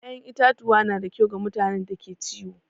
ya'yan itatuwa na da kyau ga mutanen da ke ciwo.